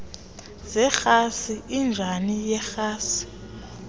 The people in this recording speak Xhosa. zerhasi injini yerhasi